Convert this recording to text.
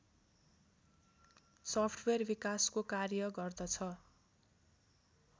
software विकासको कार्य गर्दछ